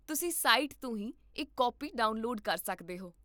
ਤੁਸੀਂ ਸਾਈਟ ਤੋਂ ਹੀ ਇੱਕ ਕਾਪੀ ਡਾਊਨਲੋਡ ਕਰ ਸਕਦੇ ਹੋ